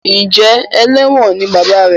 Njé eléwòn ní bàbá rẹ?